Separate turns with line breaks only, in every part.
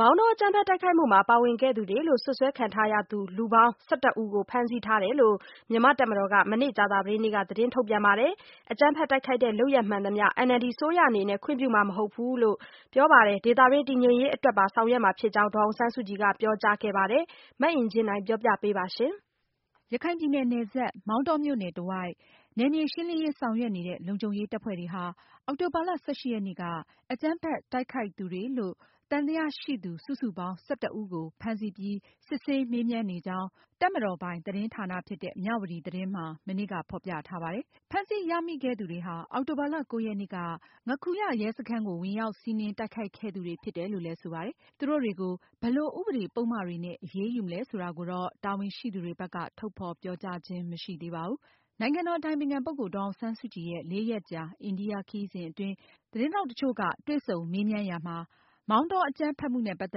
မောင်တော အကြမ်းဖက်တိုက်ခိုက်မှုမှာ ပါဝင်ခဲ့သူတွေလို့ စွပ်စွဲခံထားရတဲ့ လူပေါင်း ဦးကို ဖမ်းဆီးထားကြောင်း မြန်မာတပ်မတော်က မနေ့ ကြာသပတေးနေ့က သတင်းထုတ်ပြန်ခဲ့ပါတယ်။ အကြမ်းဖက်တိုက်ခိုက်တဲ့ လုပ်ရပ်မှန်သမျှ NLD အစိုးရအနေနဲ့ ခွင့်ပြုမှာမဟုတ်သလို၊ ဒေသတွင်း တည်ငြိမ်ရေးအတွက်ပါ ဆောင်ရွက်မှာဖြစ်ကြောင်း နိုင်ငံတော်အတိုင်ပင်ခံပုဂ္ဂိုလ် ဒေါ်အောင်ဆန်းစုကြည်က ပြောကြားခဲ့ပါတယ်။ မောင်တောဒေသ နောက်ဆုံးအခြေအနေနဲ့ပတ်သက်လို့ မအင်ကြင်းနိုင်က အပြည့်အစုံကို တင်ဆက်မှာပါ။ ရခိုင်ပြည်နယ်စပ် မောင်တောမြို့နယ်တဝိုက် နယ်မြေရှင်းလင်းရေးဆောင်ရွက်နေတဲ့ ဘက်မှာ လုံခြုံရေးတပ်ဖွဲ့တွေဟာ အောက်တိုဘာလ ရက်နေ့က အကြမ်းဖက်တိုက်ခိုက်သူတွေလို့ စွပ်စွဲခံရတဲ့ လူပေါင်း ဦးကို ဖမ်းဆီးပြီး စစ်ဆေးမေးမြန်းနေကြောင်း တပ်မတော်ပိုင် သတင်းဌာနဖြစ်တဲ့ မြဝတီသတင်းစာမှာ မနေ့က ဖေါ်ပြထားပါတယ်။ ဖမ်းဆီးရမိခဲ့သူတွေဟာ အောက်တိုဘာလ ရက်နေ့က ငါးခူးရ ရဲစခန်းကို ဝင်ရောက်စီးနင်း တိုက်ခိုက်ခဲ့သူ တွေဖြစ်တယ် လို့လည်းဆိုပါတယ်။ သူတို့တွေကို ဘယ်လို ဥပဒေပုဒ်မတွေနဲ့ အရေးယူမလဲဆိုတာကိုတော့ တာဝန်ရှိသူတွေဘက်က ထုတ်ဖေါ် ပြောကြားခြင်းမရှိသေးပါဘူး။ နိုင်ငံတော်အတိုင်ပင်ခံပုဂ္ဂိုလ် ဒေါ်အောင်ဆန်းစုကြည်ရဲ့ လေးရက်ကြာ အိန္ဒိယခရီးစဉ်အတွင်း သတင်းထောက်တချို့က တွေ့ဆုံမေးမြန်းရာ မှာ မော်တောအကြမ်းဖက်မှုနဲ့ပတ်သ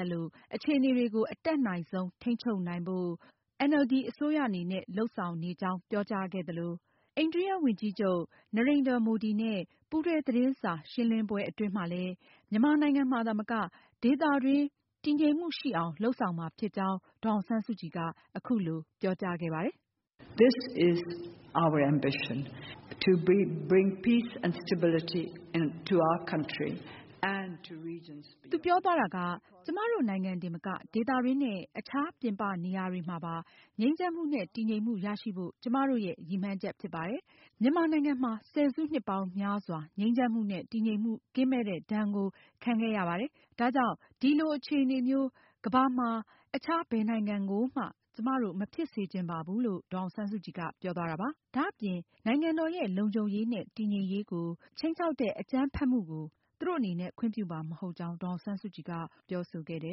က်လို့ အခြေအနေကို အတတ်နိုင်ဆုံး ထိန်းချုပ်နိုင်ဖို့ လုပ်ဆောင်နေကြောင်း ပြောကြားခဲ့သလို အိန္ဒိယဝန်ကြီးချုပ် Narendra Modi နဲ့ ပူးတွဲသတင်းစာရှင်းလင်းပွဲမှာလည်း ဒေသတွင်း တည်ငြိမ်ရေးကို လုပ်ဆောင်မှာဖြစ်တယ်လို့ အခုလို ဒေါ်အောင်ဆန်းစုကြည်က ပြောသွားပါတယ်။ “ကျမတို့နိုင်ငံတင်မက ဒေသတွင်းနဲ့ အခြားပြင်ပနေရာတွေမှာပါ ငြိမ်းချမ်းမှုနဲ့ တည်ငြိမ်မှု ရရှိဖို့ ကျမတို့ရဲ့ ရည်မှန်းချက်ဖြစ်ပါတယ်။ ဆယ်စုနှစ်ပေါင်းများစွာ ငြိမ်းချမ်းမှုနဲ့ တည်ငြိမ်မှုကင်းမဲ့တဲ့ဒဏ်ကို ကျမတို့ခံခဲ့ရပါတယ်။ ဒါကြောင့် ဒီလိုအခြေအနေမျိုး ကမ္ဘာမှာရှိတဲ့ အခြားဘယ်နိုင်ငံကိုမှ ကျမတို့ မဖြစ်စေချင်ပါဘူး။” ဒါအပြင် နိုင်ငံတော်ရဲ့ လုံခြုံရေး၊ တည်ငြိမ်ရေးနဲ့ ဂုဏ်သိက္ခာ တခုခုနဲ့ပတ်သက်ပြီး ဘယ်လို ခြိမ်းခြောက်မှုမျိုးကို မဆို NLD အစိုးရက ခွင့်ပြုမှာ မဟုတ်ဘူးလို့ ဒေါ်အောင်ဆန်းစုကြည်က ပြောဆိုခဲ့ကြော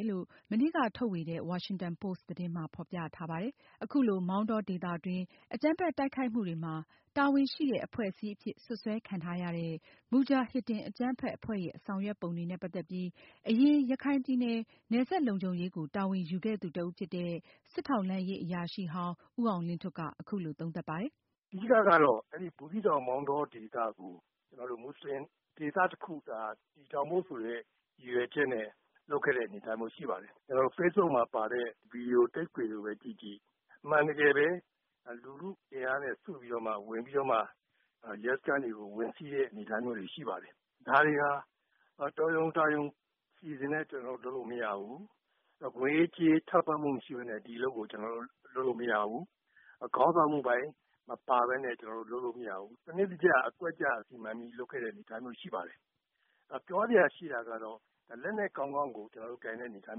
င်း မနေ့က ထုတ်ဝေတဲ့ ဝါရှင်တန်ပို့စ်သတင်းမှာဖေါ်ပြထားပါတယ်။ အခုလို မောင်တောဒေသတွင်း အကြမ်းဖက်တိုက်ခိုက်မှုတွေမှာ တာဝန်ရှိတဲ့အဖွဲ့အစည်း အဖြစ်စွပ်စွဲခံထားရတဲ့ မူဂျာဟစ်ဒင်အကြမ်းဖက် အဖွဲ့ရဲ့ ဆောင်ရွက်ပုံတွေနဲ့ ပတ်သက်ပြီး အရင် ရခိုင်ပြည်နယ် နယ်စပ်လုံခြုံရေးကို တာဝန်ယူခဲ့သူတဦးဖြစ်တဲ့ စစ်ထောက်လှမ်းရေးအရာရှိဟောင်း ဦးအောင်လင်းထွဋ်က အခုလို သုံးသပ်ပါတယ်။
“အဓိကတော့ အဲဒီ ဘူးသီးတောင်၊ မောင်တော ဒေသကို မူဆလင်ဒေသတခုလို့ တည်ထောင်ဖို့ ရည်ရွယ်ချက်နဲ့ လုပ်ခဲ့တဲ့ အနေအထားမျိုးရှိပါတယ်။ ကျနော်တို့ facebook မှာပါတဲ့ ဗွီဒီယို ၊ tape ခွေကိုပဲ ကြည့်ကြည့် အမှန်တကယ်ပဲ လူထုအင်အားနဲ့ စုပြီးတော့မှ ဝင်ပြီး ရဲစခန်းတွေကို ဝင်စီးတဲ့ အနေအထားမျိုးတွေရှိပါတယ်။ ဒါတွေဟာ တော်ရုံလုပ်လို့မရဘူး ငွေရေးကြေးရေးထောက်ပံ့မှုမရှိပဲနဲ့ ဒီအလုပ်ကို လုပ်လို့မရဘူး။ ခေါင်းဆောင်မှုပိုင်းမပါပဲနဲ့ ကျနော်တို့ လုပ်လို့မရဘူး၊ စနစ်တကျ အကွက်ကျ စီမံပြီးလုပ်ခဲ့တဲ့ အနေအထားရှိပါတယ်။ ပြောစရာရှိတာကတော့ လက်နက်ကောင်းကောင်းကို ကျနော်တို့ကိုင်တဲ့အနေအထား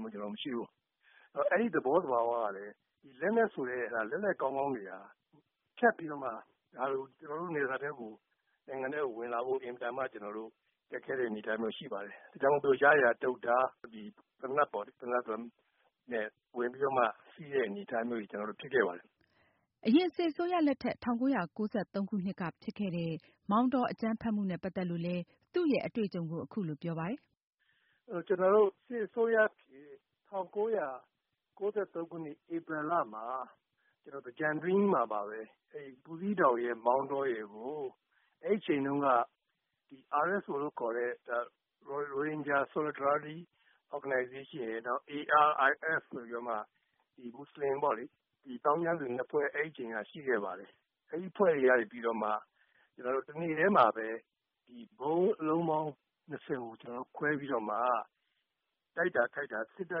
မျိုးကျနော်တို့ မရှိဘူး။ အဲဒီ သဘောသဘာဝကလည်း ဒီလက်နက်ဆိုတဲ့ လက်နက်ကောင်းကောင်းတွေဟာ ဖြတ်ပြီးတော့မှ ကျနော်တို့ နိုင်ငံနယ်စပ်ထဲကို ဝင်လာဖို့ အင်မတန်မှ ခက်ခဲတဲ့ အနေအထားရှိပါတယ်။ ဒါကြောင့်မို့လို့ တုတ်ဓါးတွေ ၊ သေနတ်ပေါ့လေ အဲဒါတွေနဲ့ ဝင်ပြီးတော့ စီးတဲ့ အနေအထားတွေ ဖြစ်ခဲ့ပါတယ်။”
အရင် စစ်အစိုးရလက်ထက် ၁၉၉၃ခုနှစ်က ဖြစ်ခဲ့တဲ့ မောင်တောအကြမ်းဖက်မှုနဲ့ပတ်သက်လို့လည်း သူရဲ့အတွေ့အကြုံကို အခုလိုပြောပါတယ်
။ “ကျနော်တို့ စစ်အစိုးရအဖြစ် ၁၉၉၃ ခုနှစ် ဧပြီလမှာ သင်္ကြန်အတွင်းမှာပါပဲ ၊ ဘူးသီးတောင်ရယ် မောင်တောရယ်ကို အဲဒီအချိန်တုန်းက RSO (Rohingya Solidarity Organisation) ရယ်၊ ARIF ဆိုပြီးတော့မှ ဒီသောင်းကျန်းသူ ၂ ဖွဲ့ဆိုတာ ရှိခဲ့ပါတယ်။ အဲဒီအဖွဲ့တွေကနေ တနေ့ထဲမှာပဲ ဗုံးအလုံးပေါင်း ၂၀ ကို ခွဲပြီးတော့မှ တိုက်တာခိုက်တာ ပစ်တာ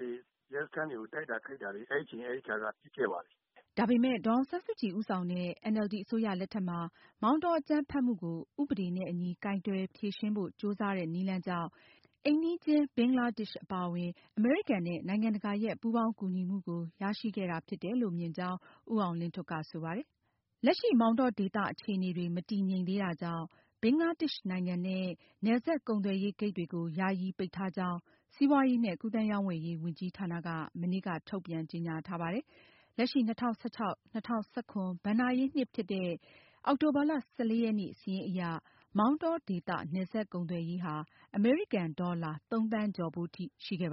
တွေ အဲဒီအချိန်က ဖြစ်ခဲ့ပါတယ်။
” ဒါပေမယ် ဒေါ်အောင်ဆန်းစုကြည်ဦးဆောင်တဲ့ NLD အစိုးရလက်ထက်မှာ မောင်တောအကြမ်းဖက်မှုကို ဥပဒေနဲ့ အညီ ကိုင်တွယ်ဖြေရှင်း ပုံကြိုးစားတဲ့နည်းလမ်းကြောင့် အိမ်နီးချင်းဘင်္ဂလားဒေ့ရှ်အပါအဝင် နိုင်ငံတကာရဲ့ ပူးပေါင်းကူညီမှုကို ရရှိခဲ့တာဖြစ်တယ်လို့ မြင်ကြောင်း ဦးအောင်လင်းထွဋ်က ဆိုပါတယ်။ လက်ရှိမောင်တောဒေသအခြေအနေတွေ မတည်ငြိမ်သေးတာကြောင့် ဘင်္ဂလားဒေ့ရှ်နိုင်ငံနဲ့ နယ်စပ် ကုန်သွယ်ရေးဂိတ်တွေကို ယာယီပိတ်ထားကြောင်း စီးပွားရေးနဲ့ ကူသန်းရောင်းဝယ်ရေးဝန်ကြီးဌာနက မနေ့က ထုတ်ပြန်ကြေညာထားပါတယ်။ လက်ရှိ ၂၀၁၆-၂၀၁၇ ဘဏ္ဍာရေးနှစ်ဖြစ်တဲ့ အောက်တိုဘာလ ရက်နေ့ စာရင်းအရ မောင်တော ဒေသနယ်စပ်ကုန်သွယ်ရေး အမေရိကန်ဒေါ်လာ ၃ သန်းကျော်ဖိုးထိရှိခဲ့ပါ